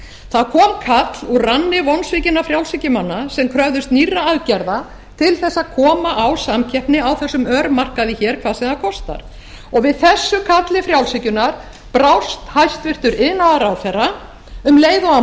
það kom kall úr ranni vonsvikinna frjálshyggjumanna sem kröfðust nýrra aðgerða til þess að koma á samkeppni á þessum örmarkaði hér hvað sem það konar við þessu kalli frjálshyggjunnar brást hæstvirtur iðnaðarráðherra um leið og hann